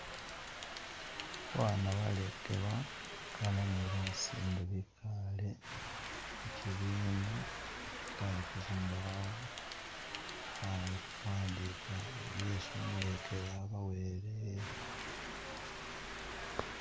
Ba baana balekelwa bakana ni basinde bekale mukyibiina kalu kuzimbawo kuwandika byesi umulekeli abawele.